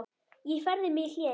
Ég færði mig í hléi.